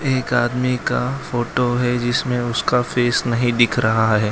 एक आदमी का फोटो है जिसमें उसका फेस नहीं दिख रहा है।